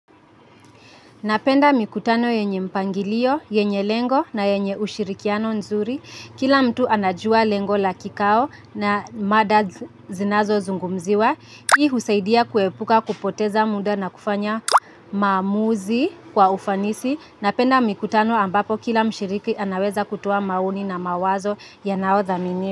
Napenda mikutano yenye mpangilio, yenye lengo na yenye ushirikiano nzuri. Kila mtu anajua lengo la kikao na mada zinazozungumziwa. Hii husaidia kuepuka kupoteza muda na kufanya maamuzi kwa ufanisi. Napenda mikutano ambapo kila mshiriki anaweza kutoa maoni na mawazo yanao thamini.